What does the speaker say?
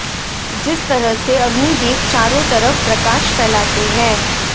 जिस तरह से अग्नि देव चारों तरफ प्रकाश फैलाते हैं